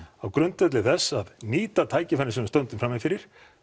á grundvelli þess að nýta tækifærin sem við stöndum frammi fyrir